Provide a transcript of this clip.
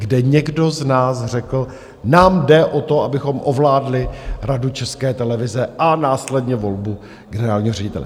Kde někdo z nás řekl: nám jde o to, abychom ovládli Radu České televize a následně volbu generálního ředitele.